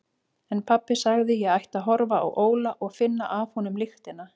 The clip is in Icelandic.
En pabbi sagði að ég ætti að horfa á Óla og finna af honum lyktina.